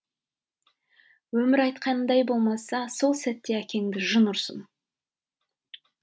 өмір айтқандай болмаса сол сәтте әкеңді жын ұрсын